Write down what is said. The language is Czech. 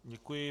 Děkuji.